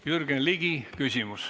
Jürgen Ligil on küsimus.